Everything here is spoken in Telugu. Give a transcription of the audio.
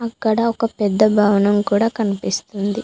ఇక్కడ ఒక పెద్ద భవనం కూడా కనిపిస్తుంది.